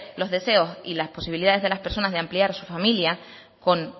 los deseos y las posibilidades de las personas de ampliar su familia con